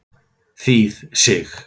Þýð. Sig.